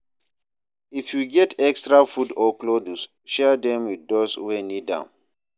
If yu get extra food or clothes, share dem with dose wey nid am.